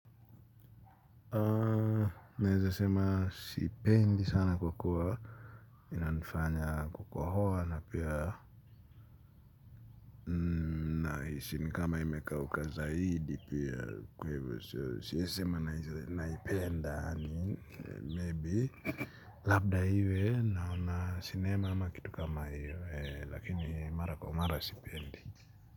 Naweza sema sipendi sana kukua. Inanifanya kukohoa na pia nahisi ni kama imekauka zaidi pia kwa hivyo siezi sema naipenda, maybe labda iwe naona sinema ama kitu kama hiyo lakini mara kwa mara sipendi.